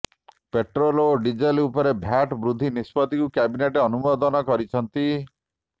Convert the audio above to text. petrol ଓ diesel ଉପରେ VAT ବୃଦ୍ଧି ନିଷ୍ପତ୍ତିକୁ କ୍ୟାବିନେଟ ଅନୁମୋଦନ କରିଛନ୍ତି